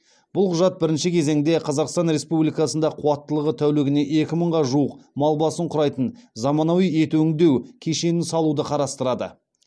бұл құжат бірінші кезеңде қазақстан республикасында қуаттылығы тәулігіне екі мыңға жуық мал басын құрайтын заманауи ет өңдеу кешенін салуды қарастырады